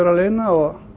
að launa og